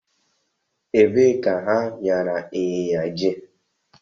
Ebe ka ha nyara ịnyịnya jee?